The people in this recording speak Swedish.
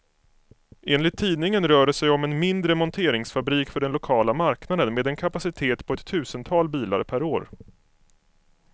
Enligt tidningen rör det sig om en mindre monteringsfabrik för den lokala marknaden, med en kapacitet på ett tusental bilar per år.